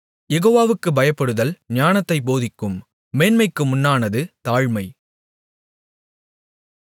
யெகோவாவுக்குப் பயப்படுதல் ஞானத்தைப் போதிக்கும் மேன்மைக்கு முன்னானது தாழ்மை